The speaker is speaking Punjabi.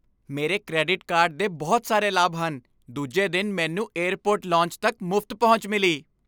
ਮੇਰੇ ਕ੍ਰੈਡਿਟ ਕਾਰਡ ਦੇ ਬਹੁਤ ਸਾਰੇ ਲਾਭ ਹਨ। ਦੂਜੇ ਦਿਨ ਮੈਨੂੰ ਏਅਰਪੋਰਟ ਲੌਂਜ ਤੱਕ ਮੁਫ਼ਤ ਪਹੁੰਚ ਮਿਲੀ।